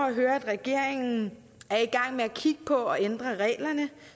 at høre at regeringen er i gang med at kigge på at ændre reglerne